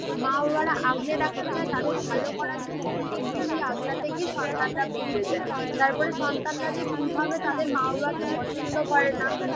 মা বাবারা আগলে রাখতে চায়, তাদের ভালো করার জন্য কিন্তু বেশি আগলাতে গিয়ে সন্তানরা বিগড়ে যান তারপরে সন্তানরা যে কিভাবে তাদের মা বাবাকে পছন্দ করে না